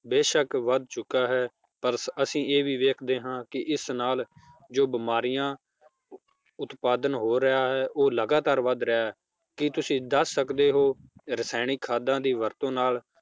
ਬੇਸ਼ਕ ਵੱਧ ਚੁਕਾ ਹੈ ਪਰ ਅੱਸੀ ਇਹ ਵੀ ਵੇਖਦੇ ਹਾਂ ਕੀ ਇਸ ਨਾਲ ਜੋ ਬਿਮਾਰੀਆਂ ਉਤਪਾਦਨ ਹੋ ਰਿਹਾ ਹੈ ਉਹ ਲਗਾਤਾਰ ਵੱਧ ਰਿਹਾ ਹੈ ਕੀ ਤੁਸੀਂ ਦੱਸ ਸਕਦੇ ਹੋ ਰਸਾਇਣਿਕ ਖਾਦਾਂ ਦੀ ਵਰਤੋਂ ਨਾਲ